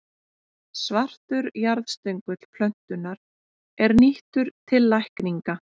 Svartur jarðstöngull plöntunnar er nýttur til lækninga.